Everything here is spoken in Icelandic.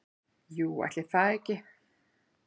"""Jú, ætli það ekki."""